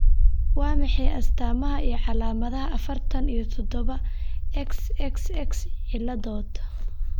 Waa maxay astamaha iyo calaamadaha afartan iyo toodba XXX ciladod?